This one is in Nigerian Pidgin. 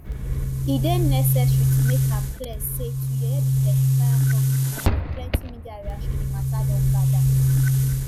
e dey necessary to make am clear say to yeye di testifier publicly wit di plenty media reaction di mata don gada